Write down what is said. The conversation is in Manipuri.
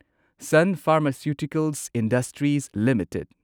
sun pharmaceuticals industries limited